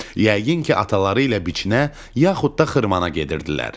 Yəqin ki, ataları ilə biçinə yaxud da xırmana gedirdilər.